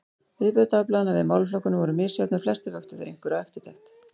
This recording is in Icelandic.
Viðbrögð dagblaðanna við málaflokkunum voru misjöfn, en flestir vöktu þeir einhverja eftirtekt.